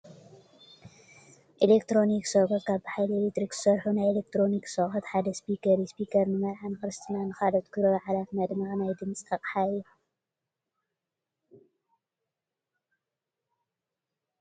ኤሌክትሮኒክስ ኣቑሑት፡- ካብ ብሓይሊ ኤክትሪክ ዝሰርሑ ናይ ኤሌክትሮኒክስ ኣቑሑት ሓደ ስፒከር እዩ፡፡ ስፒከር ንመርዓ፣ ንኽርስትናን ንኻልኦት ክብረ በዓላት መድመቒ ናይ ድምፂ ኣቕሓ እዩ፡፡